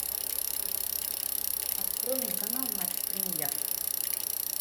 открой мне канал матч премьер